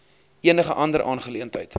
enige ander aangeleentheid